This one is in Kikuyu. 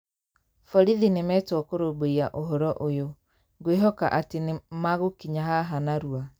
Borithi nĩ metwo kũrũmbũiyia ũhoro ũyũ. Ngwehoka atĩ nĩ magũkinya haha narua.